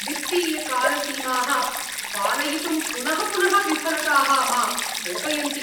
वित्तीयकालसीमाः पालयितुं पुनः पुनः विफलताः मां कोपयन्ति।